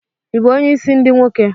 Ị bụ onye isi ndi nwoke?